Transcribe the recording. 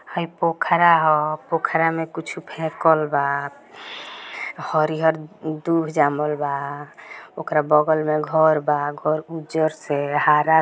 हई पोखरा ह पोखरा में कुछ फेकल बा हरी हरियर दूब जमल बा ओकरा बगल में घर बा घर उज्जर से हरा--